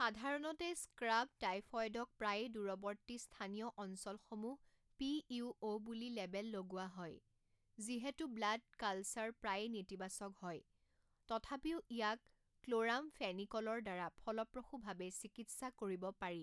সাধাৰণতে, স্ক্ৰাব টাইফয়দক প্ৰায়ে দূৰৱৰ্তী স্থানীয় অঞ্চলসমূহ পিইউঅ' বুলি লেবেল লগোৱা হয়, যিহেতু ব্লাড কালচাৰ প্ৰায়ে নেতিবাচক হয়, তথাপিও ইয়াক ক্ল'ৰামফেনিক'লৰ দ্বাৰা ফলপ্ৰসূভাৱে চিকিৎসা কৰিব পাৰি।